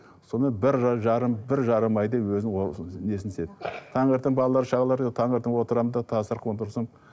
сонымен бір жарым бір жарым айдай өзінің несін істеді таңертең балалар шағаларда таңертең отырамын да